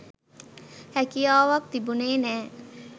හැකියාවක් තිබුනේ නෑ.